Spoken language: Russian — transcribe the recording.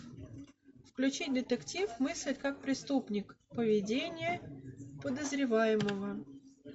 включи детектив мыслить как преступник поведение подозреваемого